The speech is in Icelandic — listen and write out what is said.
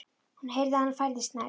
Hún heyrði að hann færðist nær.